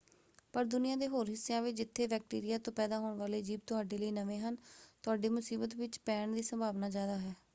ਪਰ ਦੁਨੀਆਂ ਦੇ ਹੋਰ ਹਿੱਸਿਆਂ ਵਿੱਚ ਜਿੱਥੇ ਬੈਕਟੀਰੀਆ ਤੋਂ ਪੈਦਾ ਹੋਣ ਵਾਲੇ ਜੀਵ ਤੁਹਾਡੇ ਲਈ ਨਵੇਂ ਹਨ ਤੁਹਾਡੇ ਮੁਸੀਬਤ ਵਿੱਚ ਪੈਣ ਦੀ ਸੰਭਾਵਨਾ ਜ਼ਿਆਦਾ ਹੈ।